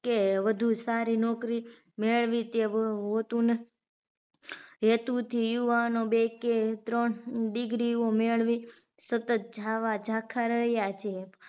કે વધુ સારી નોકરી મેળવી તેવું હોતું ન હેતુથી યુવાનો બે કે ત્રણ degree ઓ મેળવી સતત જાવા ઝાંખા રહ્યા છે